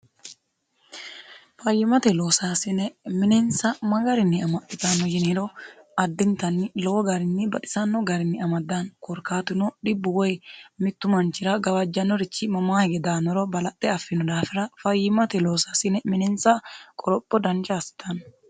fayyimate loosaasine minensa ma garinni amaxitanno yiniiro addintanni lowo garinni badisanno garinni amaddaanni korkaatino dhibbu woy mittu manchira gawajjanorichi mamaa hige daannoro balaxxe affino daafira fayyimate loosaasine minensa qoropho dancha assitanno